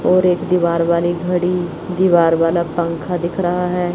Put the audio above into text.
और एक दीवार वाली घड़ी दीवार वाला पंखा दिख रहा है।